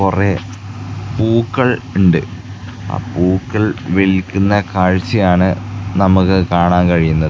കൊറേ പൂക്കൾ ഇണ്ട് ആ പൂക്കൾ വിൽക്കുന്ന കാഴ്ച്ചയാണ് നമ്മക്ക് കാണാൻ കഴിയുന്നത്.